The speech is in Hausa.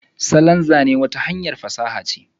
salon Zane wata hanyar fasaha ce.